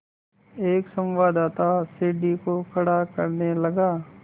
एक संवाददाता सीढ़ी को खड़ा करने लगा